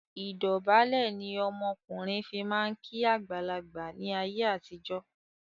Ìdọ̀bálẹ̀ ni ọmọkùnrin fi máa ń kí àgbàlagbà ni ayé àtijọ́